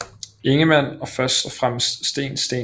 Ingemann og først og fremmest Steen St